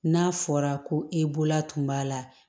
N'a fɔra ko e bolola tun b'a la